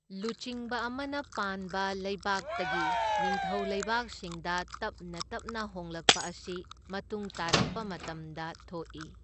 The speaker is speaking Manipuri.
ꯂꯨꯆꯤꯡꯕ ꯑꯃꯅ ꯄꯥꯟꯕ ꯂꯩꯕꯥꯛꯇꯒꯤ ꯅꯤꯡꯊꯧ ꯂꯩꯕꯥꯛꯁꯤꯡꯗ ꯇꯞꯅ ꯇꯞꯅ ꯍꯣꯡꯂꯛꯄ ꯑꯁꯤ ꯃꯇꯨꯡ ꯇꯥꯔꯛꯄ ꯃꯇꯝꯗ ꯊꯣꯛꯏ꯫